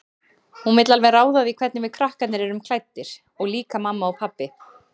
Hún vill alveg ráða því hvernig við krakkarnir erum klæddir, og líka mamma og pabbi.